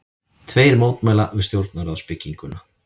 Tveir mótmæla við stjórnarráðsbygginguna